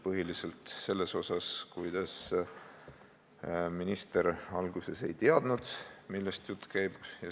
Põhiliselt seepärast, et minister alguses ei teadnud, millest jutt käib.